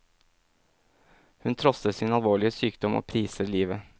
Hun trosser sin alvorlige sykdom og priser livet.